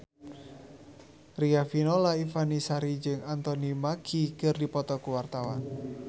Riafinola Ifani Sari jeung Anthony Mackie keur dipoto ku wartawan